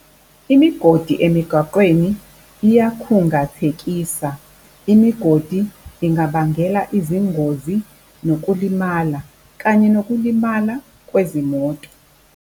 Imigodi emigaqweni iyakhungathekisa. Imigodi ingabangela izingozi nokulimala, kanye nokulimala kwezimoto.